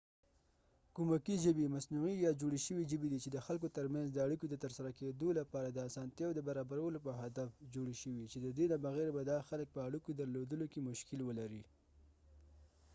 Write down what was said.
کومکي ژبې مصنوعي یا جوړې شوې ژبې دي چې د خلکو ترمنځ د اړیکو د ترسره کیدو لپاره د اسانتیاوو د برابرولو په هدف جوړې شوي چې ددې نه بغیر به دا خلک په اړیکو درلودلو کې مشکل ولري